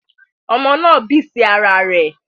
Omo náà bì sí ara rẹ̀